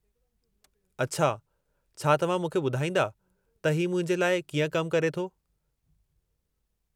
अछा, छा तव्हां मूंखे ॿुधाईंदा त ही मुंहिंजे लाइ कीअं कमु करे थो?